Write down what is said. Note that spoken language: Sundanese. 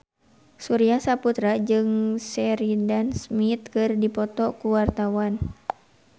Surya Saputra jeung Sheridan Smith keur dipoto ku wartawan